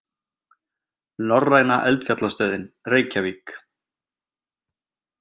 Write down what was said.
Norræna eldfjallastöðin, Reykjavík.